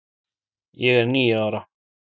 ég er níu ára.